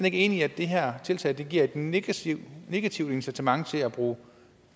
ikke enig i at det her tiltag giver et negativt negativt incitament til at bruge